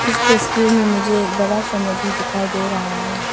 इस तस्वीर में मुझे एक बड़ा सा नदी दिखाई दे रहा है।